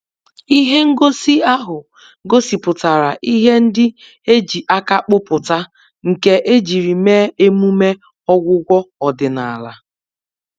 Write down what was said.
Ihe ngosi ahụ gosipụtara ihe ndị e ji aka kpụpụta nke ejiri mee emume ọgwụgwọ ọdịnala.